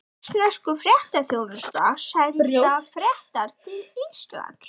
Svissnesku fréttaþjónustuna, senda fréttir til Íslands.